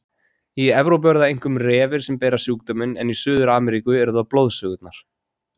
Í Evrópu eru það einkum refir sem bera sjúkdóminn en í Suður-Ameríku eru það blóðsugurnar.